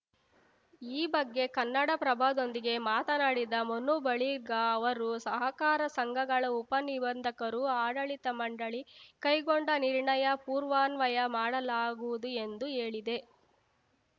ಈ ಬಗ್ಗೆ ಕನ್ನಡಪ್ರಭದೊಂದಿಗೆ ಮಾತನಾಡಿದ ಮನು ಬಳಿಗಾ ಅವರು ಸಹಕಾರ ಸಂಘಗಳ ಉಪ ನಿಬಂಧಕರು ಆಡಳಿತ ಮಂಡಳಿ ಕೈಗೊಂಡ ನಿರ್ಣಯ ಪೂರ್ವಾನ್ವಯ ಮಾಡಲಾಗುವುದು ಎಂದು ಹೇಳಿದೆ